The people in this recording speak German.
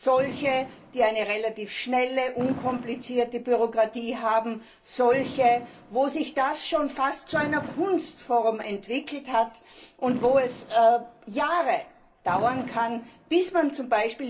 Solche, die eine relativ schnelle, unkomplizierte Bürokratie haben, solche, wo sich das schon fast zu einer Kunstform entwickelt hat und wo es Jahre dauern kann, bis man z.